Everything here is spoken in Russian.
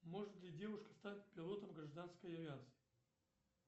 может ли девушка стать пилотом гражданской авиации